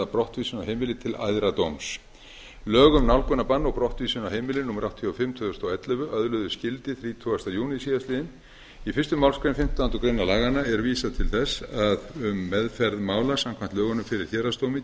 brottvísun af heimili til æðra dóms lög um nálgunarbann og brottvísun af heimili númer áttatíu og fimm tvö þúsund og ellefu öðluðust gildi þrítugasta júní síðastliðinn í fyrstu málsgrein fimmtándu grein laganna er vísað til þess að um meðferð mála samkvæmt lögunum fyrir héraðsdómi